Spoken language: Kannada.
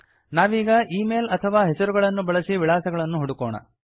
ನಾವೀಗ ಈ ಮೇಲ್ ಅಥವಾ ಹೆಸರುಗಳನ್ನು ಬಳಸಿ ವಿಳಾಸಗಳನ್ನು ಹುಡುಕೋಣ